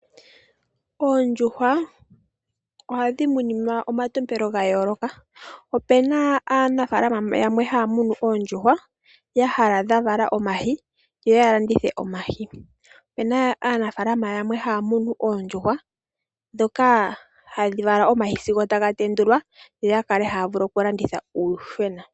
Oondjuhwa ohadhi munimwa omalalakano ga yooloka. Opuna aanafaalama haya munu oondjuhwa y hala dha vala omayi yoya landithe omayi, opuna aanafalama yamwe mboka haya munu oondjuhwa ndhoka hadhi vala omayi sigo taga tendula yoya vule oku landitha uuyuhwena.